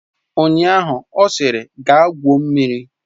Ụnyaahụ ọ sịrị, gaa gwuo mmiri!